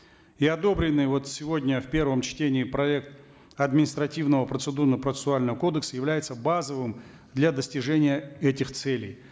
и одобренный вот сегодня в первом чтении проект административного процедурно процессуального кодекса является базовым для достижения этих целей